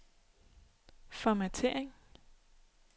formattering